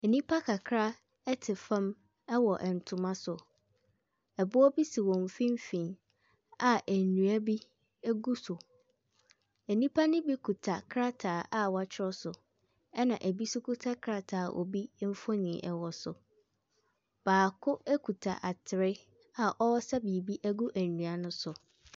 Nnipa kakra te fam wɔ ntoma so. Ɛboɔ bi si wɔn mfimfini a nnua bi gu so. Nnipa no bi kita krataa a wɔatwerɛ so, ɛna ɛbi nso kita krataa a obi mfonin wɔ so. Baako kita atere a ɔresa biribi agunnua no so.